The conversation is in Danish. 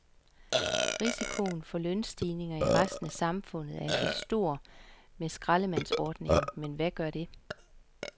Risikoen for lønstigninger i resten af samfundet er altså stor med skraldemandsordningen, men hvad gør det?